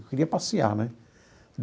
Eu queria passear né.